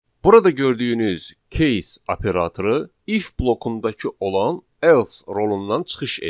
Burada gördüyünüz case operatoru if blokundakı olan else rolundan çıxış edir.